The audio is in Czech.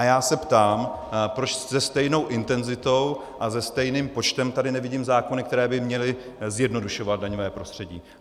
A já se ptám, proč se stejnou intenzitou a se stejným počtem tady nevidím zákony, které by měly zjednodušovat daňové prostředí.